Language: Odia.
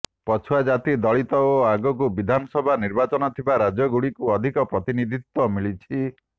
ପଛୁଆ ଜାତି ଦଳିତ ଓ ଆଗକୁ ବିଧାନସଭା ନିର୍ବାଚନ ଥିବା ରାଜ୍ୟଗୁଡିକୁ ଅଧିକ ପ୍ରତିନିଧିତ୍ୱ ମିଳିଛି